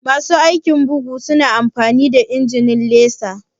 Masu aikin bugu su na amfani da injimin laser?